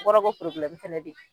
kɔrɔ ko fɛnɛ be ye